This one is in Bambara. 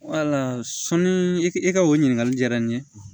sɔnni i ka o ɲininkali jara n ye